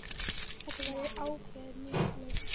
Þetta verður ákveðið mjög fljótt.